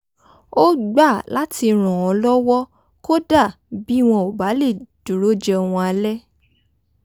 ó gbà láti ràn án lọ́wọ́ kódà bí wọn ò bá lè dúró jẹun alẹ́